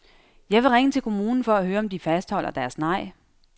Jeg vil ringe til kommunen for at høre om de fastholder deres nej.